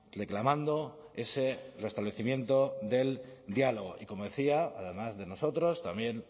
reclamando ese restablecimiento del diálogo y como decía además de nosotros también